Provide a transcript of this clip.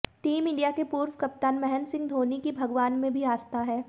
team India के पूर्व कप्तान महेंद्र सिंह धोनी की भगवान में भी आस्था है